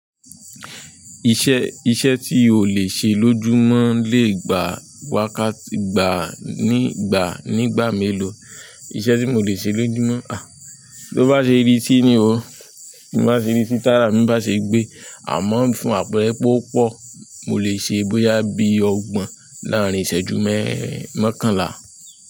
Iṣẹ́, iṣẹ́ tí o lè ṣe lójúmọ́ lè gba wákàtí gba nígbà, nígbà mélòó? Iṣẹ́ tí mo lè ṣe lójúmọ́, ha? Bí ó bá ṣe rí sí ni o. Bí mo bá ṣe rí sí tárà, bí mo bá ṣe gbé, àmọ́ ń fún àpẹẹrẹ pé ó pọ̀, mo lè ṣe bóyá bí ọgbọ̀n láàárín ìṣẹ́jú mẹ́, mọ́kànlá.